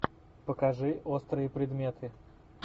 покажи острые предметы